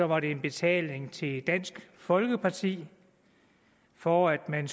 var det en betaling til dansk folkeparti for at man